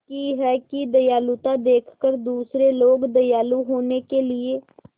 की है कि दयालुता देखकर दूसरे लोग दयालु होने के लिए